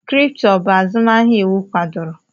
Kripto, ọ bụ azụmahịa iwu kwadoro?